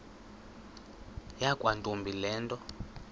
yakwantombi le nto